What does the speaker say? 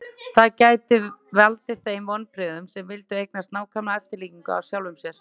það gæti valdið þeim vonbrigðum sem vildu eignast nákvæma eftirlíkingu af sjálfum sér